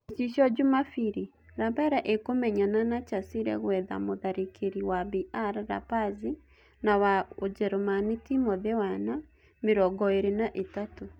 (Gicicio Jumabiri) Lapele ĩkũmenyana na Chasile gũetha mũtharĩkĩri wa BR Lapazi na wa Ujeremani Timothy Wana, mĩrongoĩrĩ na ĩtatu.